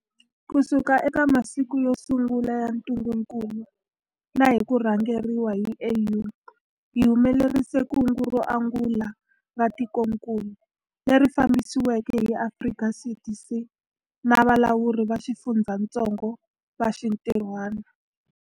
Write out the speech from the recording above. Kusuka eka masiku yo sungula ya ntungukulu na hi ku rhangeriwa hi AU, hi humelerisile kungu ro angula ra tikokulu, leri fambisiweke hi Afrika CDC na valawuri va xifundzatsongo va xintirhwana.